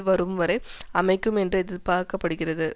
வரும் வரை அமைக்கும் என்று எதிர்பார்க்க படுகிறது